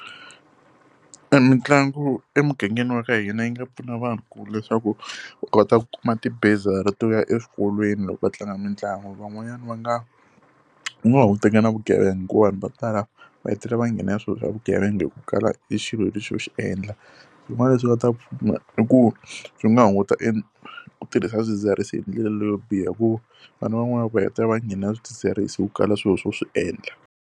E Mitlangu emugangeni wa ka hina yi nga pfuna vanhu ku leswaku u kota ku kuma ti-bursary to ya eswikolweni loko va tlanga mitlangu. Van'wanyana va nga ku nga hunguteka na vugevenga hikuva vanhu vo tala va hetelela va nghena ya swilo swa vugevenga hi ku kala e xilo lexi co xi endla. Swin'wana leswi nga ta pfuna i ku swi nga hunguta e ku tirhisa swidzidziharisi hi ndlela leyo biha, hikuva vana van'wana va hetelela va nghenelela swidzidziharisi hi ku kala swilo swo swi endla.